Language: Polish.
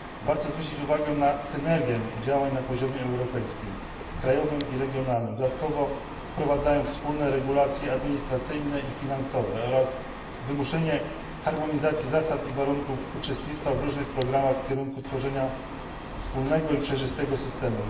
Warto zwrócić uwagę na synergię działań na poziomie europejskim, krajowym i regionalnym, dodatkowo wprowadzając wspólne regulacje administracyjne i finansowe oraz wymuszenie harmonizacji zasad i warunków uczestnictwa w różnych programach w kierunku tworzenia wspólnego i przejrzystego systemu.